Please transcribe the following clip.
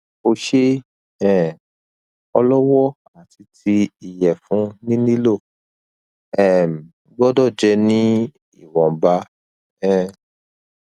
ose um olowo ati ti iyefun ni lilo um gbodo je ni iwonba um